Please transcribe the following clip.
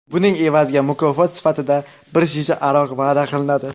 Buning evaziga mukofot sifatida bir shisha aroq va’da qiladi.